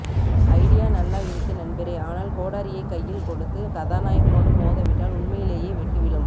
idea நல்லா இருக்கு நண்பரே ஆனால் கோடரியை கையில் கொடுத்து கசாநாயகனோடு மோத விட்டால் உண்மையிலேயே வெட்டு விழும்